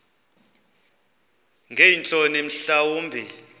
ngeentloni mhla wumbi